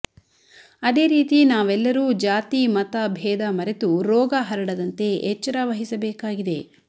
ಅದೇರೀತಿ ನಾವೆಲ್ಲರೂ ಜಾತಿ ಮತ ಭೇದ ಮರೆತು ರೋಗ ಹರಡದಂತೆ ಎಚ್ಚರ ವಹಿಸಬೇಕಾಗಿದೆ